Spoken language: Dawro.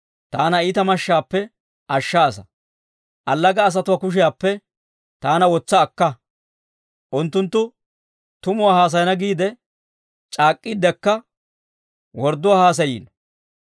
Taana iitaa mashshaappe ashshaasa; allaga asatuwaa kushiyaappe taana wotsa akka. Unttunttu tumuwaa haasayana giide c'aak'k'iiddekka, wordduwaa haasayiino.